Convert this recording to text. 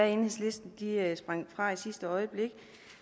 enhedslisten fra i sidste øjeblik